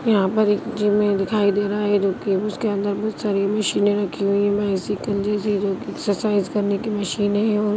यहां पर एक जिम दिखाई दे रहा है जो कि उसके अंदर बहुत सारी मशीने रखी हुई है बाइसिकल जैसी जो की एक्सरसाइज करने की मशीन है और--